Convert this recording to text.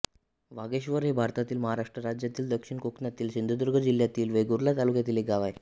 वाघेश्वर हे भारतातील महाराष्ट्र राज्यातील दक्षिण कोकणातील सिंधुदुर्ग जिल्ह्यातील वेंगुर्ला तालुक्यातील एक गाव आहे